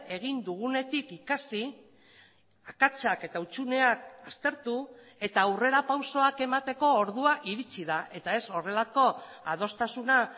egin dugunetik ikasi akatsak eta hutsuneak aztertu eta aurrerapausoak emateko ordua iritsi da eta ez horrelako adostasuna